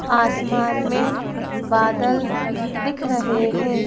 आसमान में बादल दिख रहे हैं।